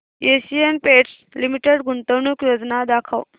Asian Paints Limited गुंतवणूक योजना दाखव